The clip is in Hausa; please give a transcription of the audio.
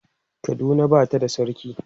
Kaduna Bata da sarki